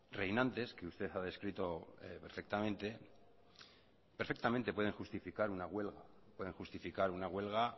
reinantes que usted ha descrito perfectamente pueden justificar una huelga